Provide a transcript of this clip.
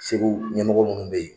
Segu ɲɛmɔgɔ munnu bɛ ye.